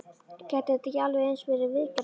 Gætu þetta ekki alveg eins verið viðgerðarmenn?